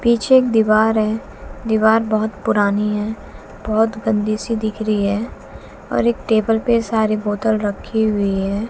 पीछे एक दीवार है दीवार बहुत पुरानी है बहुत गंदी सी दिख रही है और एक टेबल पे सारे बोतल रखी हुई है।